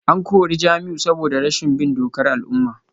An kore Jamiu ne saboda rashin bin dokar al’umma